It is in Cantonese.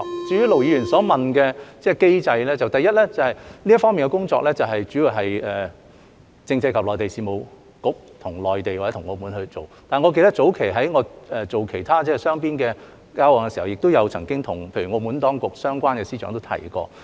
至於盧議員所問的機制，第一，這方面的工作主要是由政制及內地事務局與內地或澳門進行，但我記得早前在我做其他雙邊的交往時，亦曾經與例如澳門當局相關的司長提及。